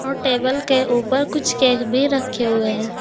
और टेबल के ऊपर कुछ केक भी रखे हुए हैं।